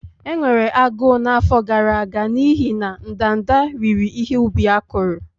Enwere agụụ n'afọ gara aga n'ihi na ndanda riri ihe ubi akụrụ.